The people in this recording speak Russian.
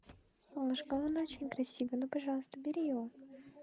солнышко он очень красивый ну пожалуйста бери его